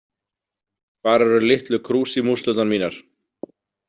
Hvar eru litlu krúsímúslurnar mínar?